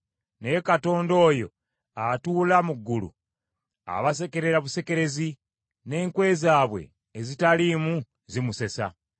Naye Katonda oyo atuula mu ggulu, abasekerera busekerezi, n’enkwe zaabwe ezitaliimu zimusesa.